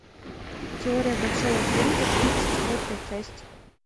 теория большого взрыва тридцать четвертая часть